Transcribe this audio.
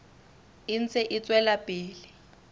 e ntse e tswela pele